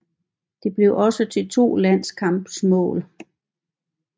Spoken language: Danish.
Det blev også til to landskampsmål